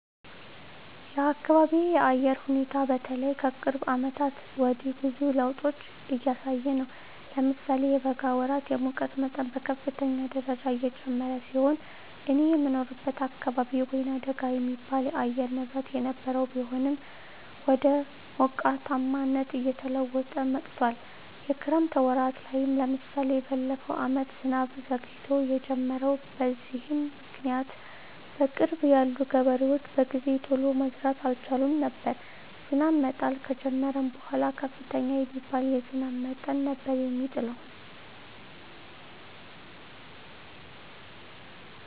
የአካቢየ የአየር ሁኔታ በተለይ ከቅርብ አመታት ወዲህ ብዙ ለዉጦች እያሳየ ነው። ለምሳሌ የበጋ ወራት የሙቀት መጠን በከፍተኛ ደረጃ የጨመረ ሲሆን እኔ የምኖርበት አካባቢ ወይናደጋ የሚባል የአየር ንብረት የነበረው ቢሆንም ወደ ሞቃታማነት እየተለወጠ መጥቶአል። የክረምት ወራት ላይም ለምሳሌ በለፈው አመት ዝናብ ዘግይቶ የጀመረው። በዚህም ምክኒያት በቅርብ ያሉ ገበሬዎች በጊዜ ቶሎ መዝራት አልቻሉም ነበር። ዝናብ መጣል ከጀመረም በኃላ ከፍተኛ የሚባል የዝናብ መጠን ነበር የሚጥለው።